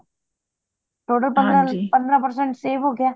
total ਪੰਦਰਾਂ ਪੰਦਰਾਂ percent save ਹੋ ਗਯਾ